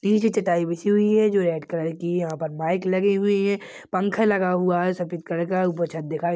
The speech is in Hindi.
नीचे चटाई बिछी हुई है जो रेड कलर की है यहाँ पर माइक लगे हुए है पंखा लगा हुआ है सफ़ेद कलर का ऊपर छत दिखाई---